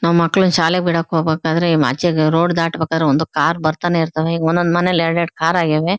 ನಾವು ಮಕ್ಕಳಿಗೆ ಶಾಲೆ ಬಿಡೋಕ್ಕೆ ಹೋಗ್ಬೇಕಾದರೆ ಮಚೆ ರೋಡ್ ದಾಟಬೇಕಾದರೆ ಕಾರ್ ಬರ್ತಾನೆ ಇರ್ತವೆ ಒಂದ್ ಒಂದ್ ಮನೆಲ್ ಎರಡ್ ಎರಡ್ ಕಾರ್ ಆಗವೆ.